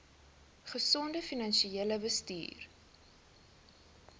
gesonde finansiële bestuur